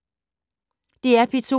DR P2